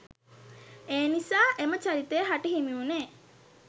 එනිසා එම චරිතයහට හිමිවුණේ